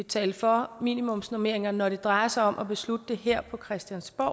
tale for minimumsnormeringer når det drejer sig om at beslutte dem her på christiansborg